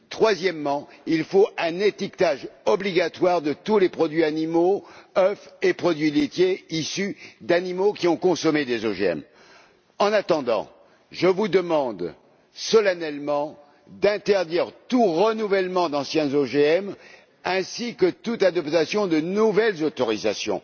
Troisièmement, l'étiquetage obligatoire de tous les produits animaux, les œufs et les produits laitiers issus d'animaux qui ont consommé des OGM. En attendant, je vous demande solennellement d'interdire tout renouvellement d'anciens OGM, ainsi que toute adoption de nouvelles autorisations.